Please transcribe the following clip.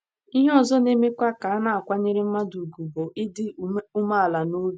Ihe ọzọ na - emekwa ka a na - akwanyere mmadụ ùgwù bụ ịdị umeala n’obi.